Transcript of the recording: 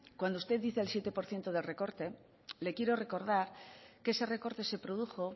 cuando usted dice el siete por ciento de recorte le quiero recordar que ese recorte se produjo